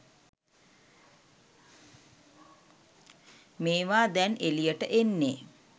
මේවා දැන් එළියට එන්නේ